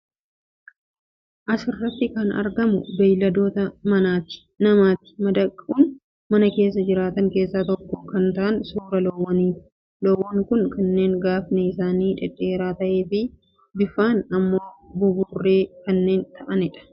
As irratti kan argamu beeyladoota namatti madaquun mana keessa jiraatan keessaa tokko kan ta'an suuraa loowwanii ti. Loowwan kun kanneen gaafni isaanii dhedheeraa ta'ee fi bifaan ammoo buburree kanneen ta'anii dha.